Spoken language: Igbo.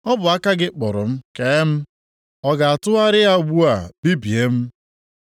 “Ọ bụ aka gị kpụrụ m kee m. + 10:8 \+xt Abụ 119:73; 139:13\+xt* Ọ ga-atụgharịa ugbu a bibie m?